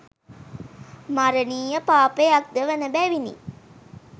මරණීය පාපයක් ද වන බැවිණි.